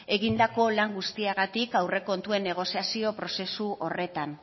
egindako lan guztiagatik aurrekontuen negoziazio prozesu horretan